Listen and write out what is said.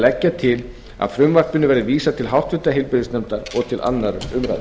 leggja til að því verði vísað til háttvirtrar heilbrigðisnefndar og til annarrar umræðu